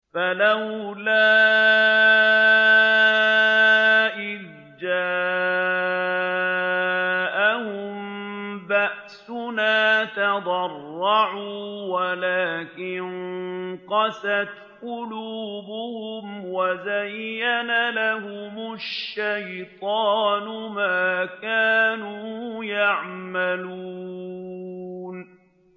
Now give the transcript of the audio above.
فَلَوْلَا إِذْ جَاءَهُم بَأْسُنَا تَضَرَّعُوا وَلَٰكِن قَسَتْ قُلُوبُهُمْ وَزَيَّنَ لَهُمُ الشَّيْطَانُ مَا كَانُوا يَعْمَلُونَ